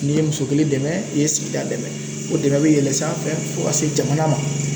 N'i ye muso kelen dɛmɛ i ye sigida dɛmɛ o dɛmɛ bɛ yɛlɛ sanfɛ fo ka se jamana ma.